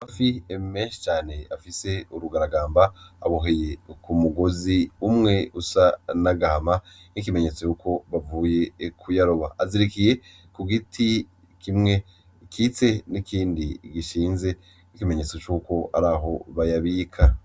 Amafi menshi cane afise urugaragamba, aboheye ku mugozi umwe usa n'agahama nk'ikimenyetse yuko bavuye kuyaroba, azirikiye ku giti kimwe gikitse n'ikindi gishinze nk'ikimenyetse cuko araho bayabika.